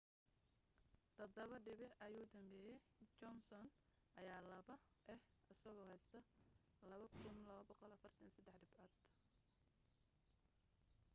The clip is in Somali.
todabo dhibic ayuu dambeyaa johnson ayaa laba ah asagoo haysta 2,243 dhibac